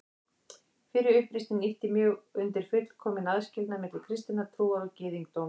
Fyrri uppreisnin ýtti mjög undir fullkominn aðskilnað milli kristinnar trúar og gyðingdóms.